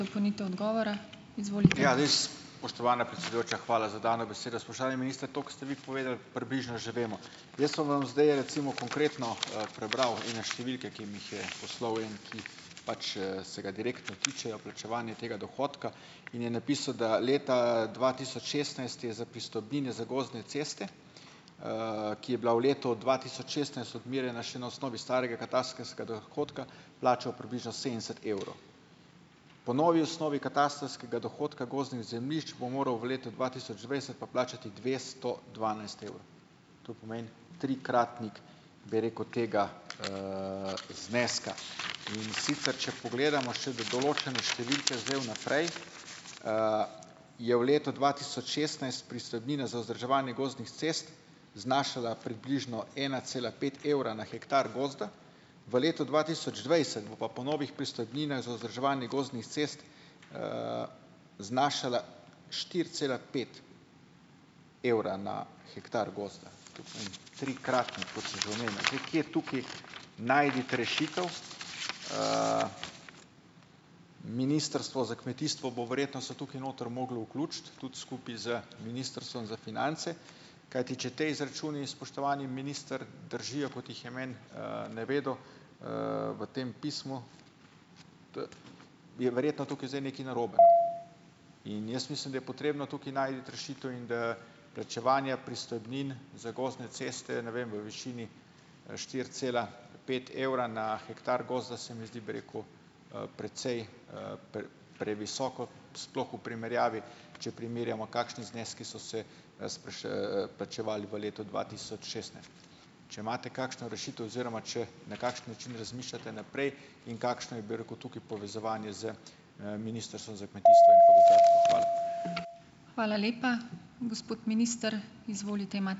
Spoštovana predsedujoča, hvala za dano besedo. Spoštovani minister, to, ko ste vi povedali, približno že vemo. Jaz vam bom zdaj recimo konkretno, prebral in na številke, ki mi jih je poslal en, ki pač, se ga direktno tičejo, plačevanje tega dohodka. In je napisal, da leta, dva tisoč šestnajst je za pristojbine za gozdne ceste, ki je bila v letu dva tisoč šestnajst odmerjena še na osnovi starega katastrskega dohodka, plačal približno sedemdeset evrov. Po novi osnovi katastrskega dohodka gozdnih zemljišč bo moral v letu dva tisoč dvajset pa plačati dvesto dvanajst evrov, to pomeni, trikratnik, bi rekel, tega, zneska. In sicer če pogledamo še določene številke zdaj vnaprej, je v letu dva tisoč šestnajst pristojbina za vzdrževanje gozdnih cest znašala približno ena cela pet evra na hektar gozda, v letu dva tisoč dvajset bo pa po novih pristojbinah za vzdrževanje gozdnih cest, znašala štiri cela pet evra na hektar gozda, trikratnik, kot sem že omenil. Zdaj, kje tukaj najti rešitev. Ministrstvo za kmetijstvo bo verjetno se tukaj noter moglo vključiti, tudi skupaj z Ministrstvom za finance, kajti če ti izračuni, spoštovani minister, držijo, kot jih je meni, navedel, v tem pismu, je verjetno tukaj zdaj nekaj narobe. In jaz mislim, da je potrebno tukaj najti rešitev in da plačevanja pristojbin za gozdne ceste, ne vem, v višini, štiri cela pet evra na hektar gozda, se mi zdi, bi rekel, precej, previsoko, sploh v primerjavi, če primerjamo, kakšni zneski so se, plačevali v letu dva tisoč šestnajst. Če imate kakšno rešitev oziroma če na kakšen način razmišljate naprej in kakšno je, bi rekel, tukaj povezovanje z, Ministrstvom za kmetijstvo in gozdarstvo? Hvala.